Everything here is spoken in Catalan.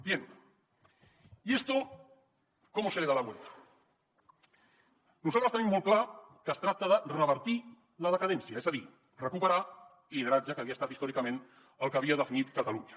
y a esto cómo se le da la vuelta nosaltres tenim molt clar que es tracta de revertir la decadència és a dir recuperar el lideratge que havia estat històricament el que havia definit catalunya